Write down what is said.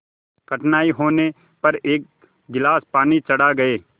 कठिनाई होने पर एक गिलास पानी चढ़ा गए